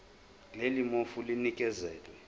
leli fomu linikezelwe